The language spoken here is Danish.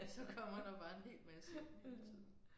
Så kommer der bare en hel masse hele tiden